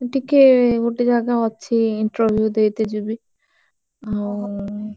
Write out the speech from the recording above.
ମୁଁ ଟିକେ ଗୋଟେ ଜାଗା ଅଛି interview ଦେଇତେ ଯିବି ଆଉ।